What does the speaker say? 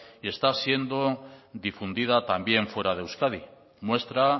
y está siendo difundida también fuera de euskadi muestra